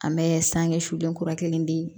An bɛ sange suden kura kelen di